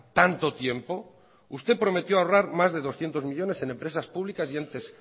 tanto tiempo usted prometió ahorrar más de doscientos millónes en empresas públicas y entes